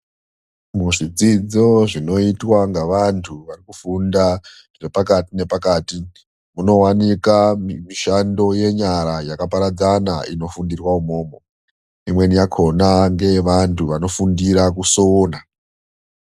Muzvidzidzo zvinoitwa ngevantu pakufunda zvepakati nepakati, munowanika mishando yenyara yakaparadzana. Inofundirwa imomo. Imweni yakona ngeye vantu vanofundira kusona.